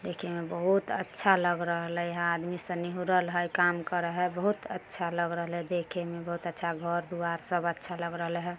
देखे में बहुत अच्छा लग रहलय इहाँ आदमी शनी निहुरलय हय काम कर हय बहुत अच्छा लग रहलय देखे में बहुत अच्छा घर दुआर सब अच्छा लग रहलय ह।